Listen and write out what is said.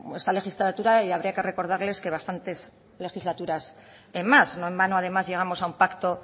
esta legislatura y habría que recordarles que bastantes legislaturas en más no en vano además llegamos a un pacto